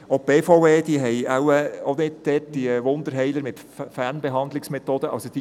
Die BVE hat wahrscheinlich auch keine Wunderheiler, die Fernbehandlungsmethoden anwenden.